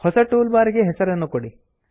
ಹೊಸ toolbar ಗೆ ಹೆಸರನ್ನು ಕೊಡಿ